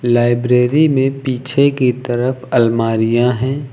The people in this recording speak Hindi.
लाइब्रेरी में पीछे की तरफ अलमारियां हैं।